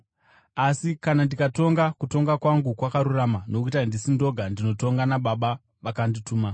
Asi kana ndikatonga, kutonga kwangu kwakarurama, nokuti handisi ndoga. Ndinotonga naBaba, vakandituma.